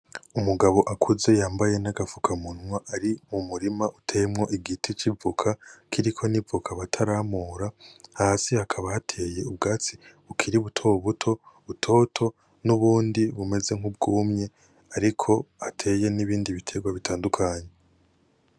Umugabo akuze yambaye n'agapfukamunwa ari mu murima uteyemwo igiti c'ivoka kiriko n'ivoka bataramura, hasi hakaba hateye ubwatsi bukiri buto buto, butoto, n'ubundi bumeze nk'ubwumye ariko hateye n'ibindi biterwa bitandukanye.